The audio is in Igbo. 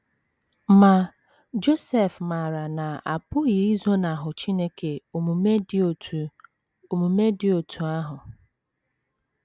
Ma, Josef maara na a pụghị izonahụ Chineke omume dị otú omume dị otú ahụ.